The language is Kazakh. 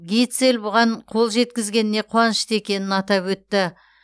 гитцель бұған қол жеткізгеніне қуанышты екенін атап өтті